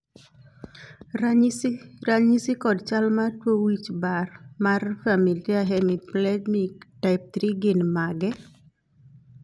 ranyisi kod chal mar tuo wich bar mar familia hemiplegic type 3 gin mage?